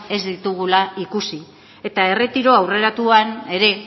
ez ditugula ikusi eta erretiro aurreratuan ere